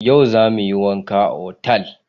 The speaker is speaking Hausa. Yau za mu yi wanka otal.